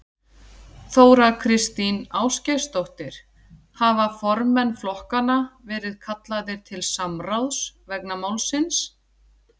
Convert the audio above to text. Þóra Kristín Ásgeirsdóttir: Hafa formenn flokkanna verið kallaðir til samráðs vegna málsins?